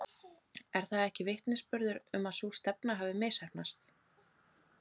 Er það ekki vitnisburður um að sú stefna hafi misheppnast?